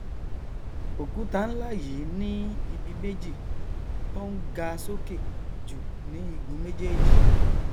òkúta nlá yìí ní ibi méjì tọn ga sókè jù ní igun méjéèjì